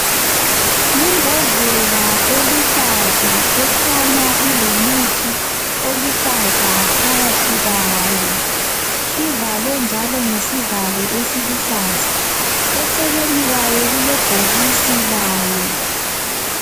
Yimbodlela eluhlaza ekhanya ilomuthi oluhlaza phakathi kwayo, ivalwe njalo ngesivalo esiluhlaza, eceleni kwayo kulebhokisi layo.